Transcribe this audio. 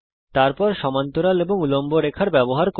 তারপর সমান্তরাল এবং উল্লম্ব রেখার ব্যবহার করুন